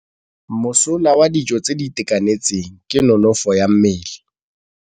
Mosola wa dijô tse di itekanetseng ke nonôfô ya mmele.